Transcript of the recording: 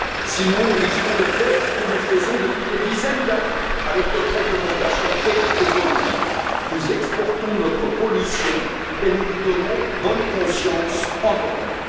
Sinon, nous risquons de faire ce que nous faisons depuis des dizaines d'années avec notre réglementation écologique nous exportons notre pollution et nous nous donnons bonne conscience en Europe.